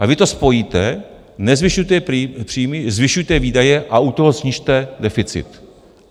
Ale vy to spojíte: Nezvyšujte příjmy, zvyšujte výdaje a u toho snižte deficit.